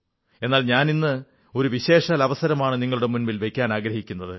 എന്നാൽ ഞാനിന്ന് ഒരു വിശേഷാൽ അവസരമാണ് നിങ്ങളുടെ മുന്നിൽ വയ്ക്കുവാനാഗ്രഹിക്കുന്നത്